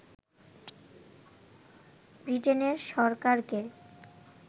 ব্রিটেনের সরকারকে